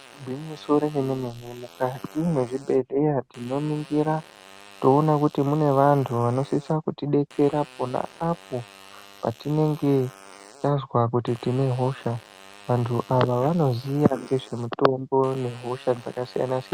Igwinyiso remene-mene, mukati mwezvibhedhleya tinoningira, toona kuti mune vantu vanosisa kutidetsera, pona apo patinenge tazwa kuti tine hosha. Vantu ava vanoziya ngezvemutombo, nehosha dzakasiyana -siyana.